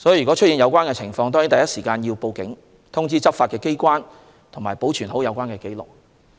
若出現有關情況，應第一時間報警，通知執法機關，以及保存有關紀錄。